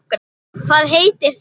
Hvað heitir það?